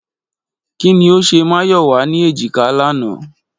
Kí ni ó ṣe Máyọ̀wá ní èjìká lánàá?